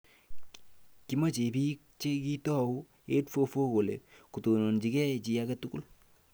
Kimachei biik che kitou 8-4-4 kole kotononjigei chi age tugul